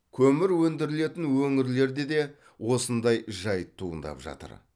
көмір өндірілетін өңірлерде де осындай жайт туындап жатыр